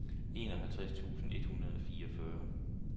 enoghalvtreds tusind et hundrede og fireogfyrre